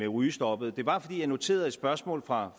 rygestoppet det var fordi jeg noterede et spørgsmål fra